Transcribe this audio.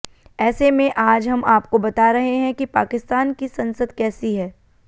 ऐसे में आज हम आपको बता रहे हैं कि पाकिस्तान की संसद कैसी है